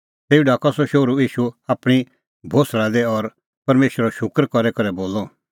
तेऊ ढाकअ सह शोहरू ईशू आपणीं कल़टी दी और परमेशरो शूकर करी करै बोलअ